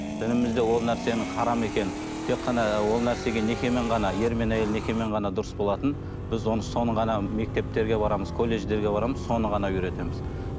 дінімізде ол нәрсенің харам екенін тек қана ол нәрсеге некемен ғана ер мен әйел некемен ғана дұрыс болатынын біз оны соны ғана мектептерге барамыз колледждерге барамыз соны ғана үйретеміз